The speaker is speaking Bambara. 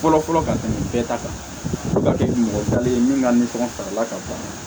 Fɔlɔfɔlɔ ka tɛmɛ bɛɛ ta kan fo ka kɛ mɔgɔ talen ye min ka nisɔn ka fara la ka ban